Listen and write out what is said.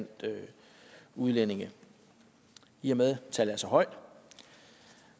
udlændinge i og med at tallet er så højt